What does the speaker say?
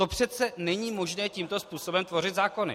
To přece není možné, tímto způsobem tvořit zákony!